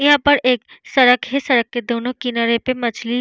यहाँ पर एक सड़क है सड़क के दोनों किनारे पे मछली --